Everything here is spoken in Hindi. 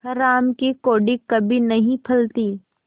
हराम की कौड़ी कभी नहीं फलती